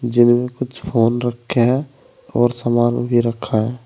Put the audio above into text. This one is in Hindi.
जिन में कुछ फोन रखे हैं और सामान भी रखा है।